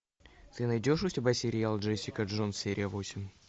ты найдешь у себя сериал джессика джонс серия восемь